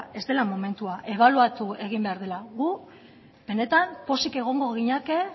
ez dela momentua ebaluatu egin behar dela gu benetan pozik egongo ginateke